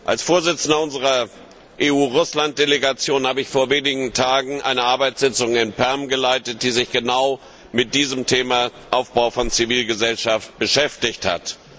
Als Vorsitzender unserer EU Russland Delegation habe ich vor wenigen Tagen eine Arbeitssitzung in Perm geleitet, die sich genau mit dem Thema Aufbau von Zivilgesellschaft beschäftigt hat.